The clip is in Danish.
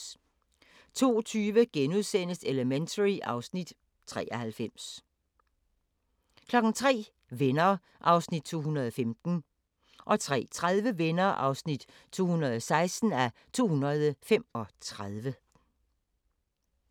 02:20: Elementary (Afs. 93)* 03:00: Venner (215:235) 03:30: Venner (216:235)